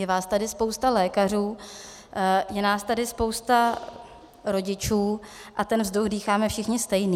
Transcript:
Je vás tady spousta lékařů, je nás tady spousta rodičů a ten vzduch dýcháme všichni stejný.